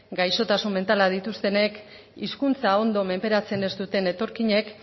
gaixotasun mentalak dituztenek hizkuntza ondo menperatzen ez duten etorkinek